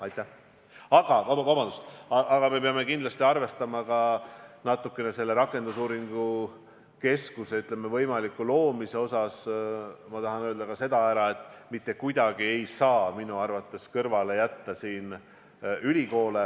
Aga ma tahan öelda ka seda, et me peame kindlasti arvestama selle rakendusuuringute keskuse võimaliku loomise puhul seda, et mitte kuidagi ei saa siin kõrvale jätta ülikoole.